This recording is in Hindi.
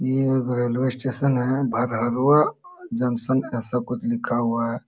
ये एक रेलवे स्टेशन है भागलवा जंक्शन ऐसा कुछ लिखा हुआ है।